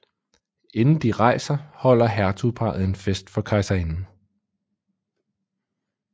Inden de rejser holder hertugparret en fest for kejserinden